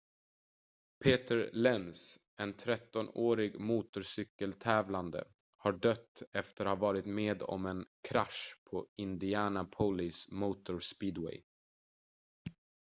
peter lenz en 13-årig motorcykel-tävlande har dött efter att ha varit med om en krasch på indianapolis motor speedway